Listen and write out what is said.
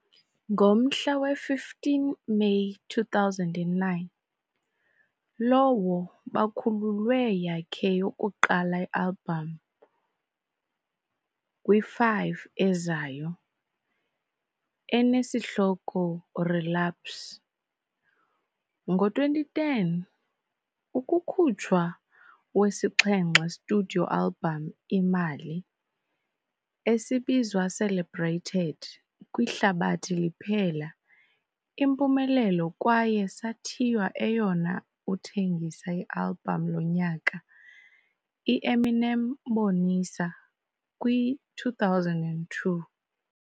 Ngomhla we-meyi 15, 2009, lowo bakhululwe yakhe yokuqala album kwi-5 ezayo, enesihloko Relapse. Ngo-2010, ukukhutshwa wesixhenxe Studio album Imali, esibizwa celebrated kwihlabathi liphela impumelelo kwaye sathiywa eyona uthengisa album lonyaka, I-Eminem Bonisa kwi-2002.